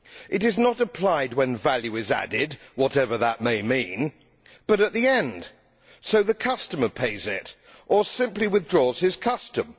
It is not applied when value is added, whatever that may mean, but at the end so the customer pays it or simply withdraws his custom.